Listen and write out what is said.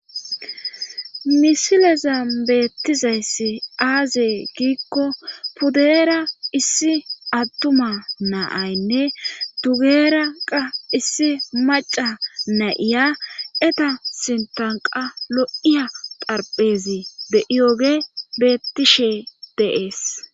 Misileza beettizayssi aaze giikko pudera issi attuma naaynne dugeera qa issi maca na7iya eta sintanqa lo7iya xarphezi be7iyoge bettishe deees.